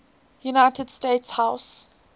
united states house